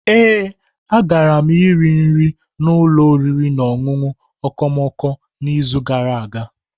Ee, agara m rie nri n'ụlọ oriri na ọṅụṅụ okomoko n'izu gara aga.